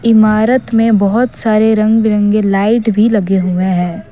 इमारत में बहुत सारे रंग बिरंगे लाइट भी लगे हुए हैं।